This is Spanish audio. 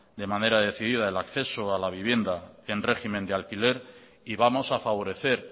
de manera decidida el acceso a la vivienda en régimen de alquiler y vamos a favorecer